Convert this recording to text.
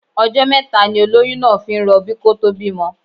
Ọjọ́ mẹ́ta ni olóyún náà fi ń rọbí kó tó bímọ.